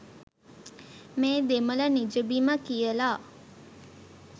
මේ දෙමළ නිජබිම කියලා.